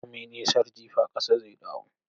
Komi nisar jifa, kasa zai dawo.